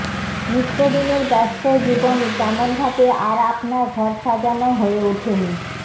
নিত্যদিনের ব্যস্ত জীবনে তেমনভাবে আর আপনার ঘর সাজানো হয়ে ওঠেনি